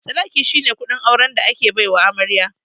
Sadaƙi shine kuɗin auren da ake baiwa amarya.